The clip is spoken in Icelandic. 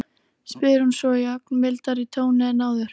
spyr hún svo í ögn mildari tóni en áður.